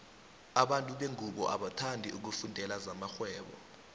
abantu bengubo abathandi ukufundela zamarhwebo